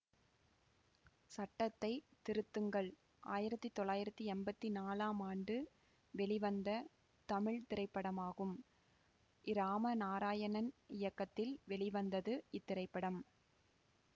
சட்டத்தை திருத்துங்கள் ஆயிரத்தி தொள்ளாயிரத்தி எம்பத்தி நாலாம் ஆண்டு வெளிவந்த தமிழ் திரைப்படமாகும் இராம நாராயணன் இயக்கத்தில் வெளிவந்தது இத்திரைப்படம்